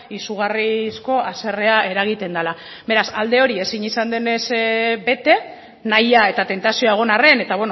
izugarrizko haserrea eragiten dela beraz alde hori ezin izan denez bete nahia eta tentazioa egon arren eta